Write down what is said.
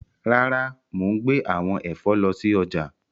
Rara, mo n gbe awọn ẹfọ lọ si ọja.